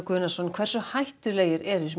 hversu hættulegir eru